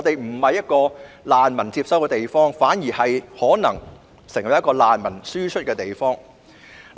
這裏已不是接收難民的地方，反之，可能成為輸出難民的地方。